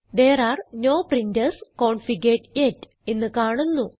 there are no printers configured yet എന്ന് കാണുന്നു